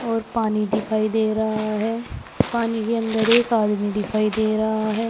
और पानी दिखाई दे रहा है पानी के अंदर एक आदमी दिखाई दे रहा है।